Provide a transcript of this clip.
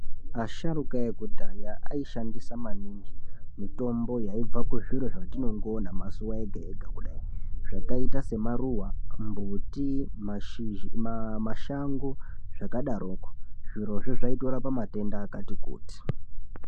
Asharuka ekudhaya aishandisa maningi mutombo yaibva kuzviro zvatinongoona mazuwa ega ega kudai zvakaita semaruwa, mbuti mashizha mashango zvakadaroko zvirozvo zvaitorapa matenda akati kuti.